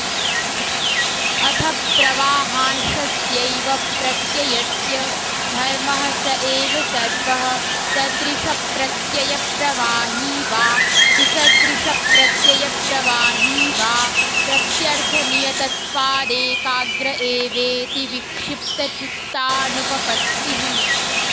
अथ प्रवाहांशस्यैव प्रत्ययस्य धर्मः स सर्वः सदृशप्रत्ययप्रवाही वा विसदृशप्रत्ययप्रवाही वा प्रत्यर्थनियतत्वादेकाग्र एवेति विक्षिप्तचित्तानुपपत्तिः